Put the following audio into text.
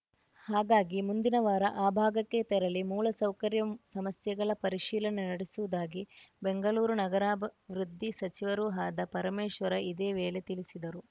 ಹಾಗಾಗಿ ಮುಂದಿನ ವಾರ ಆ ಭಾಗಕ್ಕೆ ತೆರಳಿ ಮೂಲಸೌಕರ್ಯ ಸಮಸ್ಯೆಗಳ ಪರಿಶೀಲನೆ ನಡೆಸುವುದಾಗಿ ಬೆಂಗಳೂರು ನಗರಾಭವೃದ್ಧಿ ಸಚಿವರೂ ಆದ ಪರಮೇಶ್ವರ ಇದೇ ವೇಳೆ ತಿಳಿಸಿದರು